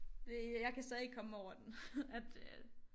Det jeg kan stadig ikke komme mig over den at øh